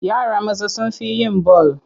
Yara maza sun fi yin bal.